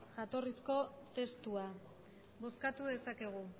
jatorrizko testua bozkatu dezakegu